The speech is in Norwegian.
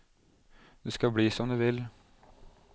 Det skal bli som du vil.